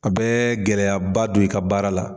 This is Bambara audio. A bɛ gɛlɛyaba don i ka baara la.